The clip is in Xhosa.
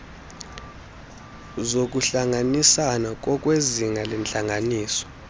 zokuhlanganisana ngokwezinga lentlanganiso